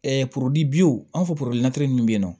an fɔ minnu bɛ yen nɔ